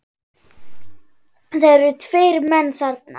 Það eru tveir menn þarna